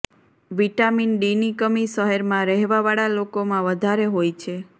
vitamin D ની કમી શહેર માં રહેવા વાળા લોકો માં વધારે હોય છે